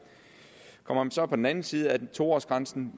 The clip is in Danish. kommer man så om på den anden side af to års grænsen